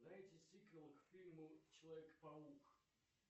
найти сиквел к фильму человек паук